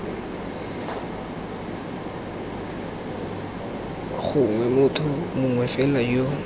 gongwe motho mongwe fela yo